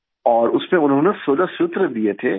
और उसमे उन्होंने 16 सूत्र दिए थे